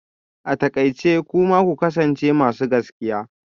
A takaice kuma ku kasance masu gaskiya